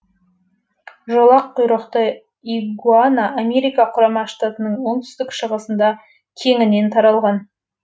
жолақ құйрықты игуана америка құрама штаттарының оңтүстік шығысында кеңінен таралған